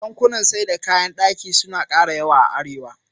Kantunan sayar da kayan ɗaki suna ƙara yawa a Arewa.